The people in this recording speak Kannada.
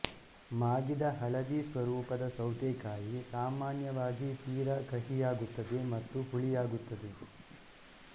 ಮಾಗಿದ ಹಳದಿ ಸ್ವರೂಪದ ಸೌತೆಕಾಯಿ ಸಾಮಾನ್ಯವಾಗಿ ತೀರಾ ಕಹಿಯಾಗುತ್ತದೆ ಮತ್ತು ಹುಳಿಯಾಗುತ್ತದೆ